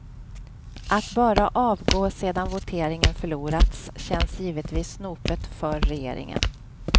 Att bara avgå sedan voteringen förlorats känns givetvis snopet för regeringen.